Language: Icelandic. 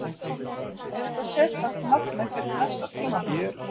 Er eitthvað sérstakt markmið fyrir næsta tímabil?